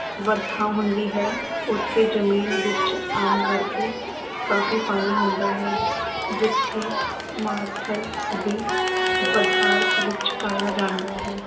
ਵਰਖਾ ਹੁੰਦੀ ਹੈ ਉੱਥੇ ਜ਼ਮੀਨ ਵਿੱਚ ਆਮ ਕਰਕੇ ਕਾਫੀ ਪਾਣੀ ਹੁੰਦਾ ਹੈ ਜਿੱਥੇ ਮਾਰੂਥਲ ਦੀ ਵਿੱਚ ਪਾਇਆ ਜਾਂਦਾ ਹੈ।